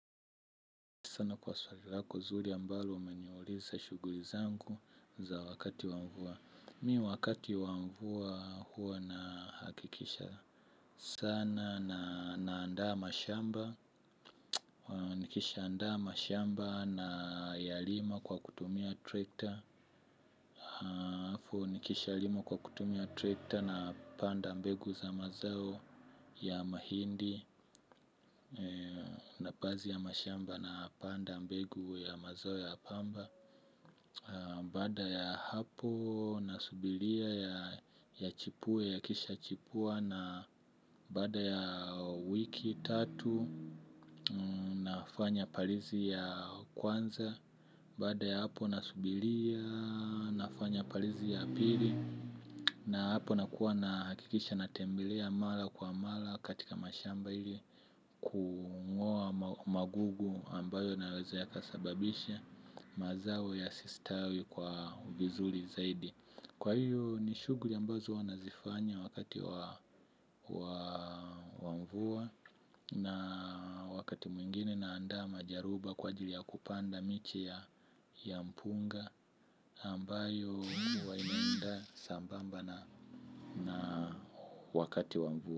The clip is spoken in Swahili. Sana kwa swali lako zuri ambalo umeniuliza shughuli zangu za wakati wa mvua. Mi wakati wa mvua huwa nahakikisha. Sana naandaa mashamba. Nikishaandaa mashamba nayalima kwa kutumia trekta. Halafu nikishalima kwa kutumia trekta napanda mbegu za mazao ya mahindi. Na baadhi ya mashamba napanda mbegu ya mazao ya pamba. Baada ya hapo nasubiria ya chipupue yakisha chipua na baada ya wiki tatu nafanya palizi ya kwanza. Baada ya hapo nasubiria nafanya palizi ya pili na hapo nakuwa nahakikisha natembelea mara kwa mara katika mashamba ili kung'oa magugu ambayo yanaweza yakasababisha mazao yasistawi kwa vizuri zaidi. Kwa hiyo ni shughuli ambazo huwa nazifanya wakati wa mvua. Na wakati mwingine naandaa majaruba kwa jili ya kupanda miche ya mpunga ambayo kuwa inaenda sambamba na wakati wa mvua.